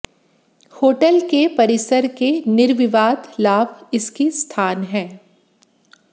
hotel के परिसर के निर्विवाद लाभ इसकी स्थान है